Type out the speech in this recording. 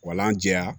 Wala jɛya